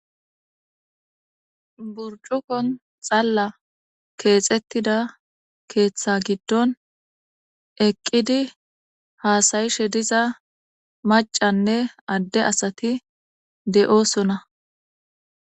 Burccukon xalla keexetida keeththa giddon eqqidi haasayishe diza maccanne adde asati de7oosona.